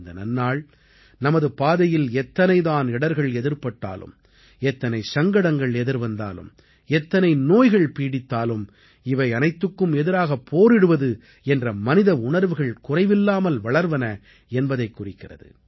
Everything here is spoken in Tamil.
இந்த நன்னாள் நமது பாதையில் எத்தனை தான் இடர்கள் எதிர்ப்பட்டாலும் எத்தனை சங்கடங்கள் எதிர்வந்தாலும் எந்தனை நோய்கள் பீடித்தாலும் இவை அனைத்துக்கு எதிராகப் போரிடுவது என்ற மனித உணர்வுகள் குறைவில்லாமல் வளர்வன என்பதைக் குறிக்கிறது